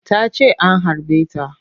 Tace an harbe ta